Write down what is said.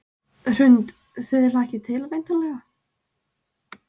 Hrund: Þið hlakkið til væntanlega?